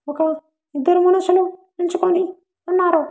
ఒక ఇద్దరు మనుషులు నించుకొని ఉన్నారు.